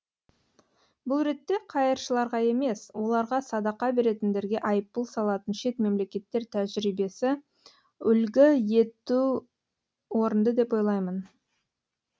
бұл ретте қайыршыларға емес оларға садақа беретіндерге айыппұл салатын шет мемлекеттер тәжірибесі үлгі ету орынды деп ойлаймын